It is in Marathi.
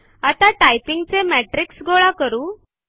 आपण टायपिंग चे मेट्रिक्स गोळा करू